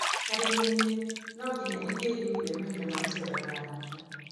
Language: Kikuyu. Harĩ niĩ no nginya ingĩimire mahinda ma gũceera na arata.